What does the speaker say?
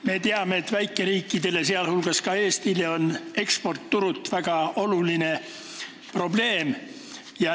Me teame, et väikeriikidele, sh Eestile, on eksportturud väga suur probleem.